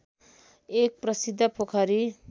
एक प्रसिद्ध पोखरी